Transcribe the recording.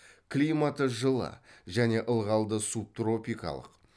климаты жылы және ылғалды субтропикалық